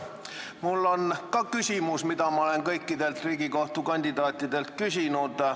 Ka minul on küsimus, mida ma olen küsinud kõikidelt Riigikohtu liikme kandidaatidelt.